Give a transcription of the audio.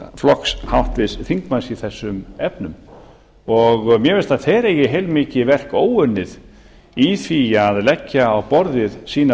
flokks háttvirts þingmanns í þessum efnum mér finnst að þeir eigi heilmikið verk óunnið í því að leggja á borðið sínar